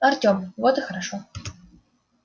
артём вот и хорошо